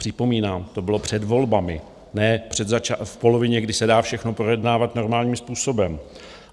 Připomínám, to bylo před volbami, ne v polovině, kdy se dá všechno projednávat normálním způsobem.